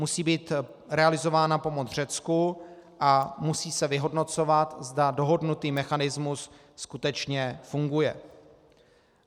Musí být realizována pomoc Řecku a musí se vyhodnocovat, zda dohodnutý mechanismus skutečně funguje.